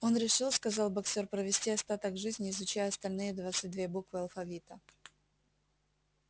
он решил сказал боксёр провести остаток жизни изучая остальные двадцать две буквы алфавита